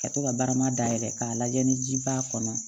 Ka to ka barama dayɛlɛ k'a lajɛ ni ji b'a kɔnɔ